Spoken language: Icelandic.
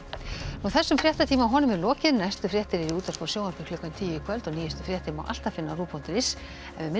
þessum fréttatíma er lokið næstu fréttir eru í útvarpi og sjónvarpi klukkan tíu í kvöld og nýjustu fréttir má alltaf finna á rúv punktur is en við minnum